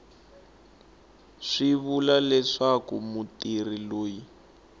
swi vula leswaku mutirhi loyi